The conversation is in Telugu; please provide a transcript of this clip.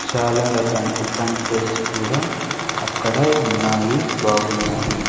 చాలా రకాన్ టిఫన్ ప్లేట్స్ కూడా అక్కడ ఉన్నాయి బాగున్నాయి.